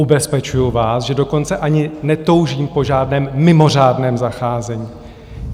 Ubezpečuju vás, že dokonce ani netoužím po žádném mimořádném zacházení.